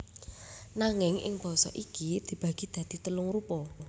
Nanging ing basa iki dibagi dadi telung rupa